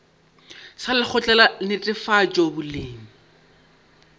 sa lekgotla la netefatšo boleng